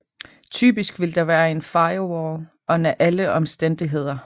Typisk vil der være en firewall under alle omstændigheder